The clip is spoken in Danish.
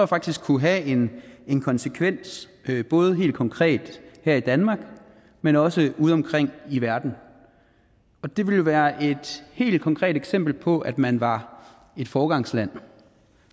faktisk kunne have en konsekvens både helt konkret her i danmark men også udeomkring i verden det ville være et helt konkret eksempel på at man var et foregangsland